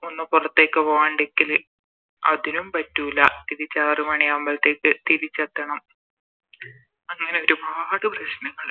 ഒന്ന് പൊറത്തേക്ക് പോവണ്ടെക്കില് അതിനും പറ്റൂല തിരിച്ച് ആറ് മണിയാവുമ്പൾത്തേക്ക് തിരിച്ചെത്തണം അങ്ങനെ ഒരുപാട് പ്രശ്നങ്ങളിണ്ട്